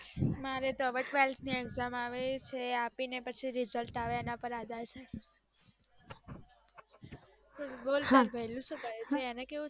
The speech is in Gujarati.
મારે તો હવે twelfth ની exam આવે છે આપીને પછી result આવે એના પર આધાર છે, બોલ તારો ભૈલું સુ કરે છે અને કેવું ચાલે છે